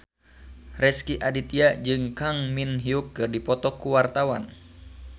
Rezky Aditya jeung Kang Min Hyuk keur dipoto ku wartawan